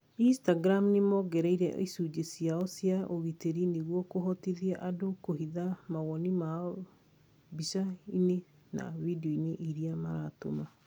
Instagram nĩmongereire icunjĩ cĩao cia ũgitĩri nĩguo kũhotithia andũ kũhitha mawoni mao mbica-inĩ na video-inĩ irĩa maratũma